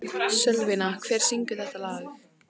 Sölvína, hver syngur þetta lag?